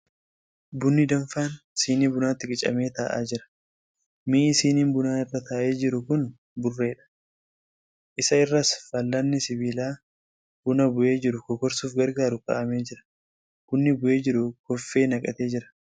Bunni danfaan sinii bunaatti qicamee taa'aa jira. Mi'i siniin bunaa irra taa'ee jieu kun burreedha. Isa irras fal'aanni sibiilaa buna bu'ee jiru kokorsuuf gargaaru kaa'amee jira. Bunni bu'ee jiru koffee naqatee bira.